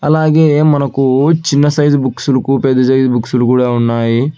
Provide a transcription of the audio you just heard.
అలాగే మనకు చిన్న సైజు బుక్స్ లుకు పెద్ద సైజ్ బుక్స్ లు కూడా ఉన్నాయి.